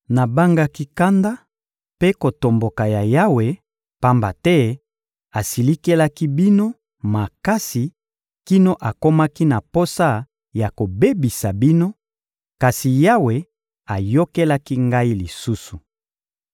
Nabangaki kanda mpe kotomboka ya Yawe, pamba te asilikelaki bino makasi kino akomaki na posa ya kobebisa bino; kasi Yawe ayokelaki ngai lisusu.